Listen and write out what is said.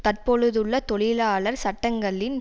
தற்பொழுதுள்ள தொழிலாளர் சட்டங்களின்